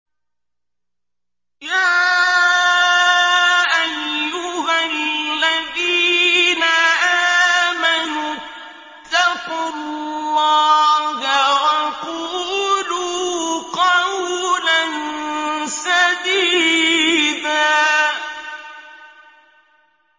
يَا أَيُّهَا الَّذِينَ آمَنُوا اتَّقُوا اللَّهَ وَقُولُوا قَوْلًا سَدِيدًا